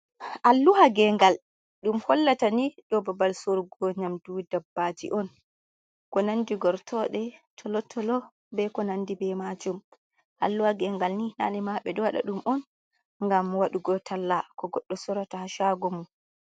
Alluha ngegal ɗum hollata ni ɗo babal sorugo nyamdu dabbaji on, ko nandi gortode, tolotolo, be ko nandi be majum, alluha gengal ni nane ma ɓe ɗo wada dum on ngam wadugo talla ko godɗo sorata ha shago mum.